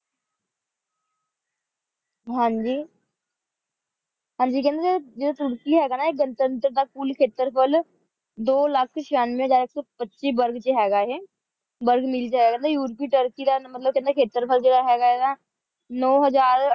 ਹਨ ਜੀ ਹਨ ਜੀ ਕੇਹੰਡੀ ਜੇਰੀ ਤੁਰਕੀ ਹੇਗਾ ਨਾ ਇਹ ਦੋ ਲਖ ਚਿਯਾਂਵ੍ਯ ਦਾ ਆਇਕ ਸੋ ਪਚੀਸ ਬੁਰਗ ਦਾ ਹੇਗਾ ਏਹੀ ਬੁਰਗ ਕੇਹੰਡੀ ਯੂਰੋਪੀ ਤੁਰਕੀ ਦਾ ਮਤਲਬ ਕੇਹੰਡੀ ਖੇਤਰ ਹੇਗਾ ਜੇਰਾ ਇੜਾ ਨੋ ਹਜ਼ਾਰ